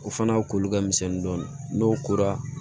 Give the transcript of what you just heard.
O fana koli ka misɛn dɔɔnin n'o kora